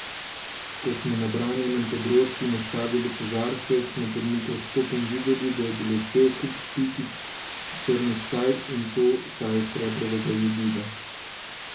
Ko smo na branjenem področju nastavili kozarce, smo pod mikroskopom videli, da je bilo cel kup pikic črnih saj, in to saj srebrovega jodida.